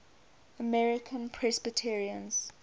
american presbyterians